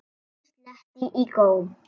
Bóndinn sletti í góm.